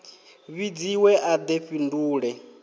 vhidziwe a de a fhindule